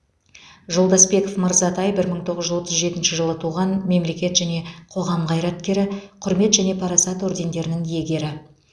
жолдасбеков мырзатай бір мың тоғыз жүз отыз жетінші жылы туған мемлекет және қоғам қайраткері құрмет және парасат ордендерінің иегері